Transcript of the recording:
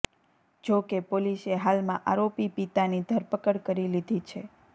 જો કે પોલીસે હાલમાં આરોપી પિતાની ધરપકડ કરી લીધી છે